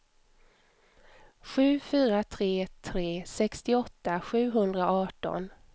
sju fyra tre tre sextioåtta sjuhundraarton